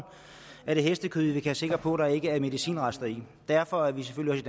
er det hestekød vi kan være sikre på der ikke er medicinrester i derfor er vi selvfølgelig